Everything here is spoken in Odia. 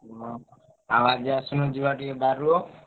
ହଁ ଆଉ ଆଜି ଆସୁନ ଯିବା ଟିକେ ବାରୁଅ।